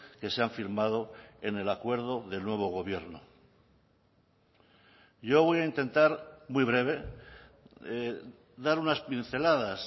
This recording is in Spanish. que se han firmado en el acuerdo del nuevo gobierno yo voy a intentar muy breve dar unas pinceladas